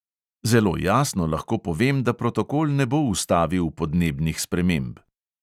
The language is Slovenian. Zelo jasno lahko povem, da protokol ne bo ustavil podnebnih sprememb.